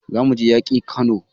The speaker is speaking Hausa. Za mu je yaƙi Kano